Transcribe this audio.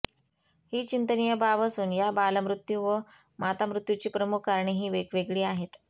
ही चिंतनीय बाब असून या बालमृत्यू व मातामृत्यूची प्रमुख कारणे ही वेगवेगळी आहेत